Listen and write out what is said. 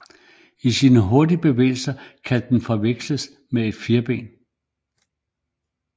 Med sine hurtige bevægelser kan den forveksles med et firben